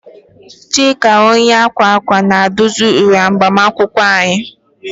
Chika onye akwa akwa na-edozi uwe agbamakwụkwọ anyị.